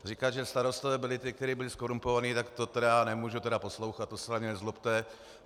Říkat, že starostové byli ti, kteří byli zkorumpovaní, tak to tedy nemůžu poslouchat, to se na mě nezlobte.